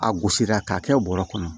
A gosira k'a kɛ bɔrɛ kɔnɔ